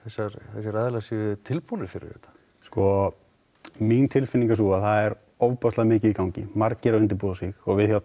þessir aðilar sé tilbúnir fyrir þetta sko mín tilfinning er sú að það er ofboðslega mikið í gangi margir að undirbúa sig við hjá